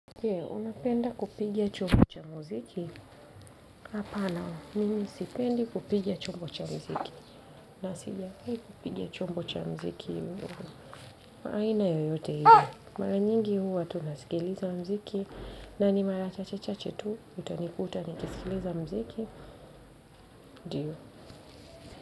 Je, unapenda kupiga chombo cha muziki? Hapana, mimi sipendi kupiga chombo cha muziki. Na sijawahi, kipiga chombo cha muziki huu. Kwa aina yoyote ile mara nyingi huwa, tu na sikiliza muziki. Na ni mara chache chache tu, utanikuta, ni kisikiliza muziki. Ndio.